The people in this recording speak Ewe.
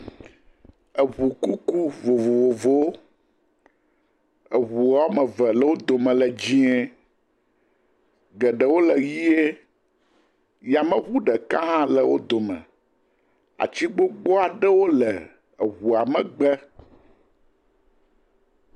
Nyɔnu aɖe le nu abe ɖaba tɔ ene, kɔ nane yevu aɖe fiam abe ɖewo dzi be yava nɔ anyi ɖe yameʋu me ene.p